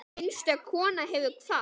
Einstök kona hefur kvatt.